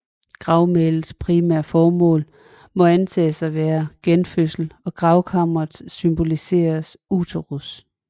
Gravmælets primære formål må antages at være genfødsel og gravkammeret symboliserede uterus